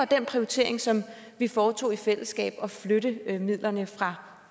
den prioritering som vi foretog i fællesskab ved at flytte midlerne fra